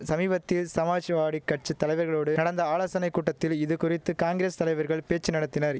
சமீபத்தில் சமாஜ்வாடி கட்சி தலைவர்களோடு நடந்த ஆலோசனை கூட்டத்தில் இதுகுறித்து காங்கிரஸ் தலைவர்கள் பேச்சு நடத்தினரி